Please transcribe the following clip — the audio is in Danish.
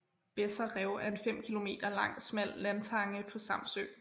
Besser Rev er en 5 km lang smal landtange på Samsø